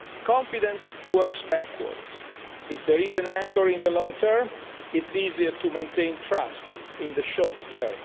Confidence works backwards if there is an anchor in the long term, it is easier to maintain trust in the short